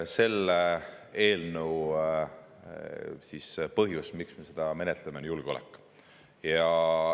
Olgu öeldud, et põhjus, miks me seda eelnõu menetleme, on julgeolek.